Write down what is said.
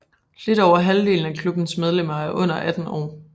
Lidt over halvdelen af klubbens medlemmer er under 18 år